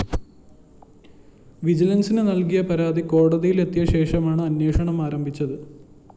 വിജിലന്‍സിന് നല്‍കിയ പരാതി കോടതിയിലെത്തിയശേഷമാണ് അന്വേഷണം ആരംഭിച്ചത്